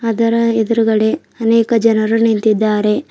ಅದರ ಎದುರಗಡೆ ಅನೇಕ ಜನರು ನಿಂತಿದಾರೆ.